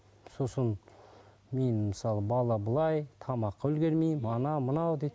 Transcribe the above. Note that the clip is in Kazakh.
сосын мен мысалы бала былай тамаққа үлгермеймін анау мынау дейді